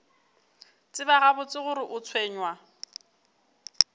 tseba gabotse gore o tshwenywa